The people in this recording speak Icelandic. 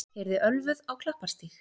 Keyrði ölvuð á Klapparstíg